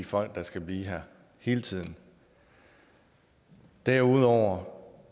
folk der skal blive her hele tiden derudover